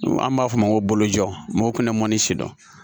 An b'a fɔ o ma ko bolojɔ mɔgɔw kun bɛ mɔni si dɔn